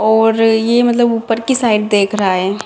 और ये मतलब ऊपर की साइड देख रहा है।